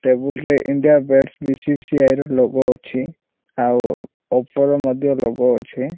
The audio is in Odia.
ଟେବୁଲ୍ ରେ ଇଣ୍ଡିଆ ବ୍ୟାଟସ୍ ପି_ସି_ସି_ଆଇ ର ଲୋଗୋ ଅଛି ଆଉ ଓପୋ ର ମଧ୍ୟ ଲୋଗୋ ଅଛି।